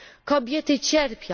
Kobiety cierpią.